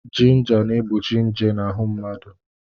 Jinja na-egbochi nje n'ahụ mmadụ.